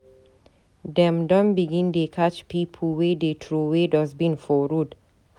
Dem don begin dey catch pipo wey dey troway dustbin for road